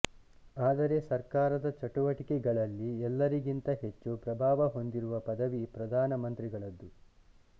ಆದರೆ ಸರ್ಕಾರದ ಚಟುವಟಿಕೆಗಳಲ್ಲಿ ಎಲ್ಲರಿಗಿಂತ ಹೆಚ್ಚು ಪ್ರಭಾವ ಹೊಂದಿರುವ ಪದವಿ ಪ್ರಧಾನ ಮಂತ್ರಿಗಳದ್ದು